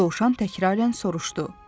Dovşan təkrarən soruşdu.